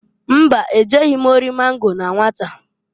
Mba! E jeghi m ori mango na nwata.